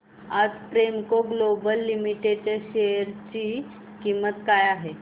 आज Premco global limited च्या share ची किंमत काय आहे